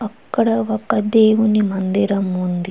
అక్కడ ఒక దేవుని మందిరం ఉంది.